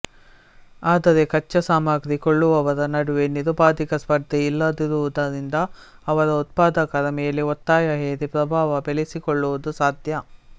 ಆದರೆ ಕಚ್ಚಾಸಾಮಗ್ರಿ ಕೊಳ್ಳುವವರ ನಡುವೆ ನಿರುಪಾಧಿಕ ಸ್ಪರ್ಧೆ ಇಲ್ಲದಿರುವುದರಿಂದ ಅದರ ಉತ್ಪಾದಕರ ಮೇಲೆ ಒತ್ತಾಯ ಹೇರಿ ಪ್ರಭಾವ ಬೆಳೆಸಿಕೊಳ್ಳುವುದು ಸಾಧ್ಯ